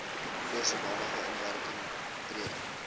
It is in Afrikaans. voor sodanige inwerkingtreding